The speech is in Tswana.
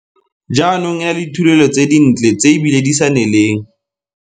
jaanong e na le dithulelo tse dintle tse ebile di sa neleng.